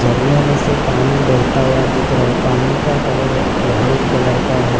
झरने में से पानी बहता हुआ दिख रहा है पानी का कलर व्हाइट कलर का है।